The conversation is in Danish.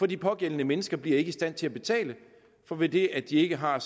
de pågældende mennesker bliver ikke i stand til at betale for ved det at de ikke har